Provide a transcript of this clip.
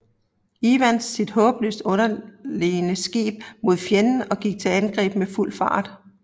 Evans sit håbløst underlegne skib mod fjenden og gik til angreb med fuld fart